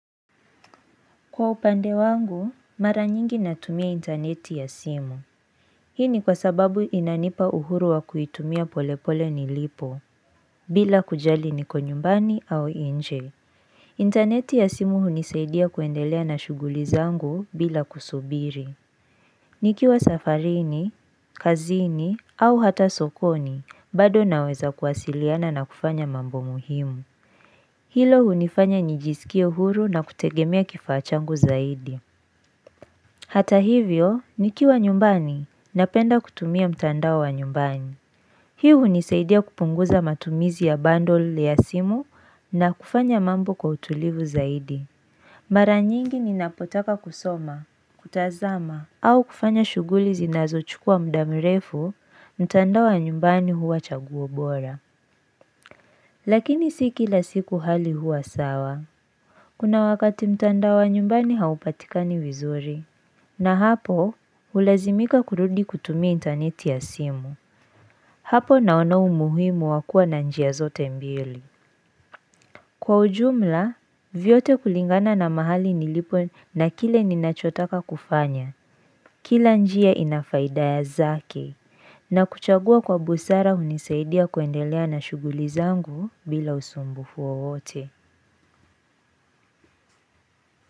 Kwa upande wangu, mara nyingi natumia intaneti ya simu. Hii ni kwa sababu inanipa uhuru wa kuitumia polepole nilipo, bila kujali niko nyumbani au nje. Interneti ya simu hunisaidia kuendelea na shughuli zangu bila kusubiri. Nikiwa safarini, kazini, au hata sokoni, bado naweza kuwasiliana na kufanya mambo muhimu. Hilo hunifanya nijisikie uhuru na kutegemea kifaa changu zaidi. Hata hivyo, nikiwa nyumbani, napenda kutumia mtandao wa nyumbani. Hii hunisaidia kupunguza matumizi ya bundle ya simu na kufanya mambo kwa utulivu zaidi. Mara nyingi ninapotaka kusoma, kutazama, au kufanya shughuli zinazochukua muda mrefu, mtandao wa nyumbani huwa chaguo bora. Lakini si kila siku hali huwa sawa. Kuna wakati mtandao wa nyumbani haupatika ni vizuri, na hapo hulazimika kurudi kutumia intaneti ya simu. Hapo naona umuhimu wa kuwa na njia zote mbili. Kwa ujumla, vyote kulingana na mahali nilipo na kile ninachotaka kufanya, kila njia inafaida zake, na kuchagua kwa busara unisaidia kuendelea na shughuli zangu bila usumbufu wowote.